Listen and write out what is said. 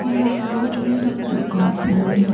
और यहां छोटा सा कंपाउंड है।